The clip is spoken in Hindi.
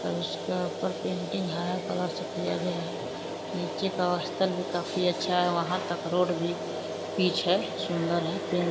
और उसका ऊपर पेंटिंग हारा कलर से किया गया है| नीचे का अस्थल भी काफी अच्छा है| वहाँ तक रोड भी पीच है सुन्दर है।